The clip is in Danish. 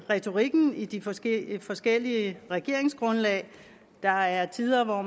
retorikken i de forskellige forskellige regeringsgrundlag der er tider hvor